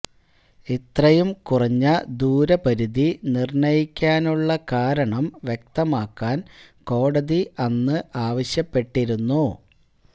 ഇത്രയും കുറഞ്ഞ ദൂരപരിധി നിർണയിക്കാനുള്ള കാരണം വ്യക്തമാക്കാൻ കോടതി അന്ന് ആവശ്യപ്പെട്ടിരുന്നു